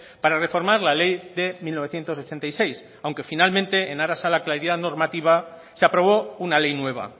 para reformar la ley de mil novecientos ochenta y seis aunque finalmente en aras a la claridad normativa se aprobó una ley nueva